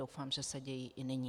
Doufám, že se dějí i nyní.